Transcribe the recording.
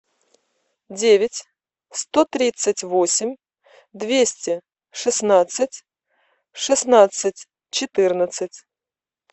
девять сто тридцать восемь двести шестнадцать шестнадцать четырнадцать